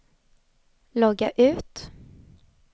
logga ut